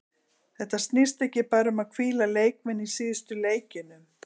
Þetta snýst ekki bara um að hvíla leikmenn í síðustu leikjunum.